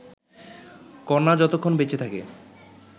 কন্যা যতক্ষণ বেঁচে থাকে